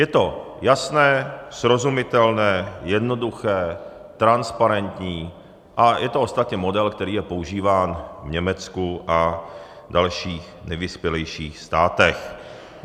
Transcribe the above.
Je to jasné, srozumitelné, jednoduché, transparentní a je to ostatně model, který je používán v Německu a dalších nejvyspělejších státech.